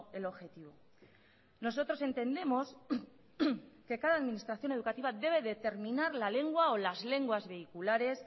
el objetivo nosotros entendemos que cada administración educativa debe determinar la lengua o las lenguas vehiculares